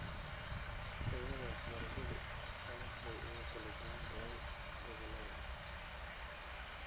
Tayada waxbarashadu aad bay ugu kala duwan tahay gobollada .